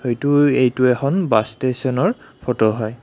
এইটো এখন বাছ ষ্টেচনৰ ফটো হয়।